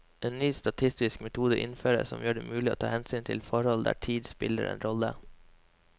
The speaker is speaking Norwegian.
En ny statistisk metode innføres, som gjør det mulig å ta hensyn til forhold der tid spiller en rolle.